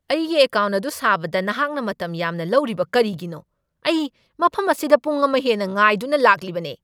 ꯑꯩꯒꯤ ꯑꯦꯀꯥꯎꯟꯠ ꯑꯗꯨ ꯁꯥꯕꯗ ꯅꯍꯥꯛꯅ ꯃꯇꯝ ꯌꯥꯝꯅ ꯂꯧꯔꯤꯕ ꯀꯔꯤꯒꯤꯅꯣ? ꯑꯩ ꯃꯐꯝ ꯑꯁꯤꯗ ꯄꯨꯡ ꯑꯃ ꯍꯦꯟꯅ ꯉꯥꯏꯗꯨꯅ ꯂꯥꯛꯂꯤꯕꯅꯦ!